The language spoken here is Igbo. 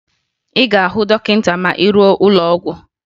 Ị ga-ahụ dọkịta ma ị ruo n'ụlọ ọgwụ